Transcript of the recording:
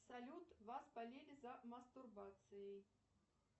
салют вас спалили за мастурбацией